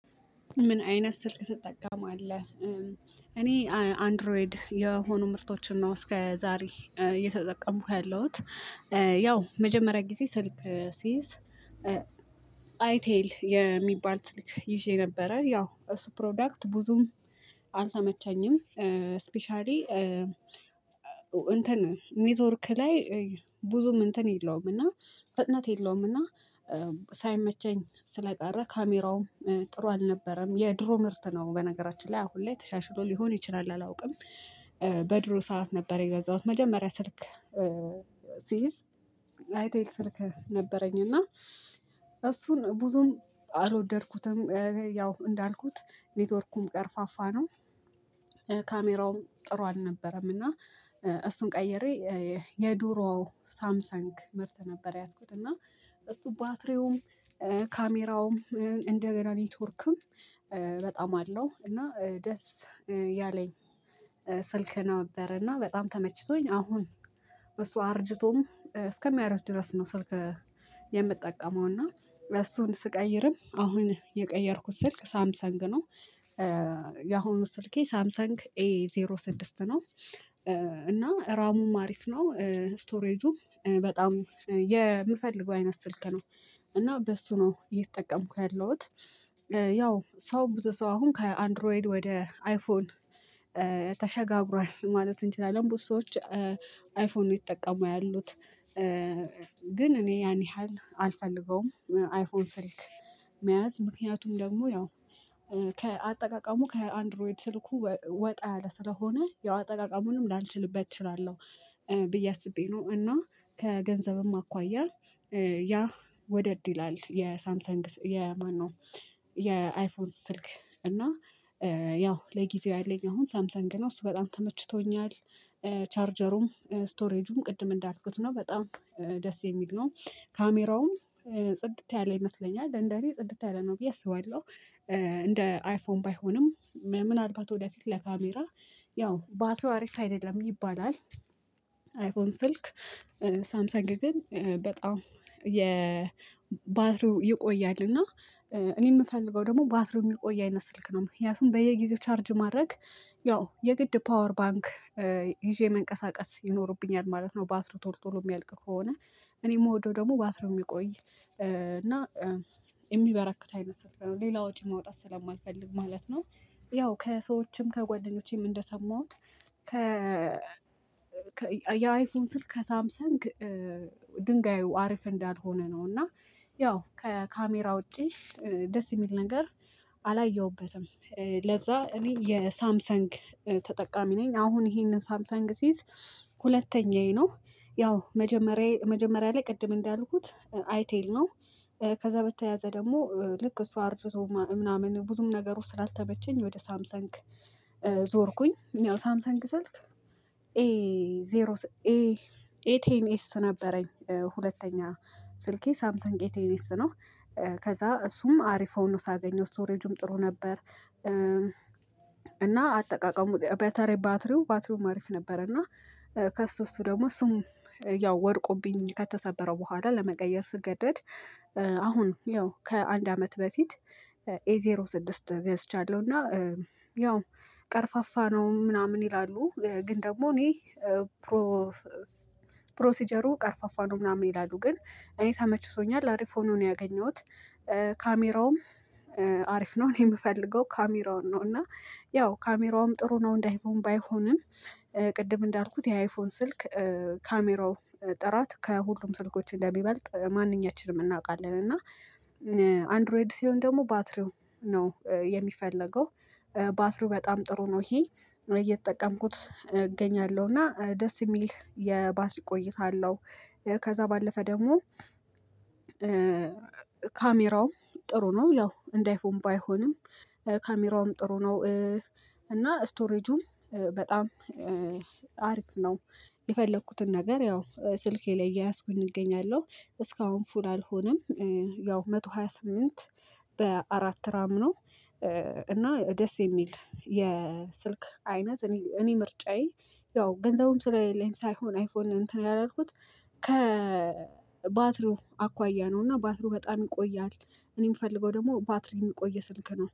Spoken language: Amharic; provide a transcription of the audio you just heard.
ምን አይነት ስልክ ትጠቀማለህ እኔ አንድሮይድ የሆኑ ምርቶችን ነው እስከ ዛሬ እየተጠቀምኩ ያለሁት። ያው መጀመሪያ ጊዜ ስልክ ሲይዝ። አይቴል የሚባል ስልክ ይዤ ነበረ ያው እሱ ፕሮዳክት ብዙም አልተመቸኝም። ስፔሻሊ እንትን ኒትወርክ ላይ ብዙም እንትን የለውም እና ፍጥነት የለውም። እና ሳይመቸኝ ስለቀረ ካሜራውም ጥሩ አልነበረም የድሮ ምርት ነው። በነገራችን ላይ አሁን ላይ ተሻሽሎ ሊሆን ይችላል አላውቅም። በድሮ ሰዓት ነበር የገዛሁት መጀመሪያ ስልክ ስይዝ አይቴል ስልክ ነበረኝ። እና እሱን ብዙም አልወደድኩትም ያው እንዳልኩት ኔትወርኩም ቀርፋፋ ነው። ካሜራውም ጥሩ አልነበረም እና እሱን ቀየሬ። የዱሮው ሳምሰንክ መርተህ ነበር ያስኩት እና እሱ ባትሪውም ካሜራውም እንደገና ኔትወርክም በጣም አለው እና ደስ ያለኝ ስልክ ነበረ። እና በጣም ተመችቶኝ። አሁን እሱ አርጅቶም እስከሚያረጅ ድረስ ነው ስልክ የምጠቀመው። እና እሱን ስቀይርም አሁን የቀየርኩት ስልክ ሳምሰንግ ነው። ያሁኑ ስልኬ ሳምሰንግ ኤ ዜሮ ስድስት ነው። እና ራሙም አሪፍ ነው ስቶሬጁም በጣም የምፈልገው አይነት ስልክ ነው። እና በሱ ነው እየተጠቀምኩ ያለሁት። ያው ሰው ብዙ ሰው አሁን ከአንድሮይድ ወደ አይፎን ተሸጋግሯል ማለት እንችላለን ብዙ ሰዎች አይፎን እየተጠቀሙ ያሉት። ግን እኔ ያን ያህል አልፈልገውም። አይፎን ስልክ መያዝ ምክንያቱም ደግሞ ያው ከአጠቃቀሙ ከአንድሮይድ ስልኩ ወጣ ያለ ስለሆነ ያው አጠቃቃሙንም ላልችልበት እችላለሁ። ብዬ አስቤ ነው። እና ከገንዘብም አኳያ ያ ወደድ ይላል የሳምሰንግ የማነው የአይፎን ስልክ እና ያው ለጊዜው ያለኝ አሁን ሳምሰንግ ነው እሱ በጣም ተመችቶኛል። ቻርጀሩም ስቶሬጁም ቅድም እንዳልኩት ነው በጣም ደስ የሚል ነው። ካሜራውም ጽድት ያለ ይመስለኛል ለንደኔ እኔ ጽድት አለ ነው ብዬ አስባለሁ። እንደ አይፎን ባይሆንም ምናልባት ወደፊት ለካሜራ ያው ባቶ አሪፍ አይደለም ይባላል። አይፎን ስልክ ሳምሰንግ ግን በጣም የባትሪው ይቆያል እና እኔ የምፈልገው ደግሞ ባህሩ የሚቆይ አይነት ስልክ ነው። ምክንያቱም በየጊዜው ቻርጅ ማድረግ ያው የግድ ፓወር ባንክ ይዤ መንቀሳቀስ ይኖርብኛል ማለት ነው። ባትሪው ቶሎ ቶሎ የሚያልቅ ከሆነ። እኔ የምወደው ደግሞ ባትሪው የሚቆይ እና የሚበረክት አይነት ስልክ ነው። ሌላ ወጪ መውጣት ስለማልፈልግ ማለት ነው። ያው ከሰዎችም ከጎደኞቼም እንደሰማሁት ከ ያ አይፎን ስል ከሳምሰንገሰ ድንጋዩ አርፍ እንዳልሆነ ነው። እና ያው ከካሜራ ውጪ ደስ የሚል ነገር አላየሁበትም። ለዛ እኔ የሳምሰንግ ተጠቃሚ ነኝ። አሁን ይሄንን ሳምሰንግ ስይዝ ሁለተኛዬ ነው። ያው መጀመሪያ መጀመሪያ ላይ ቅድም እንዳልኩት አይቴል ነው። ከዛ በተያያዘ ደግሞ ልክ እሷ አርጅቶ ምናምን ብዙም ነገሩ ስላልተመቸኝ ወደ ሳምሰንግ ዞርኩኝ። ያው ሳምሰን ስልክ ኤ ዜሮ ኤ ኤቴን ኤስ ነበረኝ ሁለተኛ ስልኬ ሳምሰንግ ኤ ቴንኤስ ነው። ከዛ እሱም አሪፈሆኖ ሳገኘው ስቶሬጁም ጥሩ ነበር። እና አጠቃቀሙ በተለይ ባትሪው ባትሪው አሪፍ ነበረ። እና ከእሱ እሱ ደግሞ እሱም ያው ወድቆብኝ ከተሰበረው በኋላ ለመቀየር ስገደድ። አሁን ያው ከአንድ አመት በፊት ኤ ዜሮ ስድስት ገዝቻለሁ። እና ያው ቀርፋፋ ነው ምናምን ይላሉ ግን ደግሞ እኔ ፕሮሰስ ፕሮሲጀሩ ቀርፋፋ ነው ምናምን ይላሉ ግን እኔ ተመችቶኛል አሪፍ ሆኖ ነው ያገኘሁት። ካሜራውም አሪፍ ነው እኔ የምፈልገው ካሜራውን ነው። እና ያው ካሜራውም ጥሩ ነው እንደ አይፎን ባይሆንም። ቅድም እንዳልኩት የአይፎን ስልክ ካሜራው ጥራት ከሁሉም ስልኮች እንደሚበልጥ ማንኛችንም እናውቃለን። እና አንድሮይድ ሲሆን ደግሞ ባትሪው ነው የሚፈለገው ባትሪው በጣም ጥሩ ነው። ይሄ እየተጠቀምኩት እገኛለሁ እና ደስ የሚል የባትሪ ቆይታ አለው። ከዛ ባለፈ ደግሞ ካሜራው ጥሩ ነው ያው እንደ አይፎም ባይሆንም ካሜራውም ጥሩ ነው። እና ስቶሬጁም በጣም አሪፍ ነው። የፈለኩትን ነገር ያው ስልኬ ላይ እየያዝኩኝ እገኛለሁ እስካሁን ፉል አልሆንም። ያው መቶ ሃያ ስምንት በአራት ራም ነው። እና ደስ የሚል የስልክ አይነት እኔ ምርጫዬ ያው ገንዘቡን ስለሌለኝ ሳይሆን አይፎን እንትን ያላልኩት ከ ባትሪው አኳያ ነው። እና ባትሪው በጣም ይቆያል እኔ እምፈልገው ደግሞ ባትሪው እሚቆይ ስልክ ነው